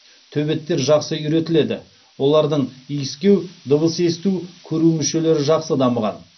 төбеттер жақсы үйретіледі олардың иіскеу дыбыс есту көру мүшелері жақсы дамыған